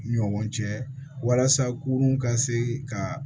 Ɲɔgɔn cɛ walasa kurun ka se ka